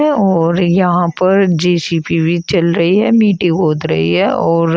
और यहां पर जे_सी_बी भी चल रही है मिट्टी बहुत रही है और--